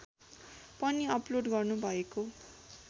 पनि अपलोड गर्नुभएको